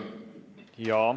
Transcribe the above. Jaa.